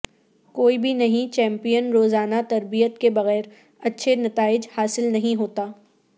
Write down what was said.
کوئی بھی نہیں چیمپیئن روزانہ تربیت کے بغیر اچھے نتائج حاصل نہیں ہوتا